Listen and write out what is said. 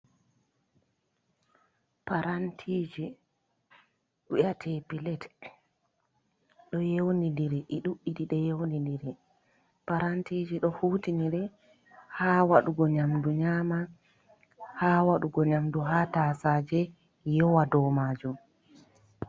Parantije wiyete plate. Ɗo yewnidiri, ɗi ɗuɗɗi yewnidiri parantije do hutine ha wadugo nyamdu nyama, ha wadugo nyamdu ha tasaje yowa dou majum.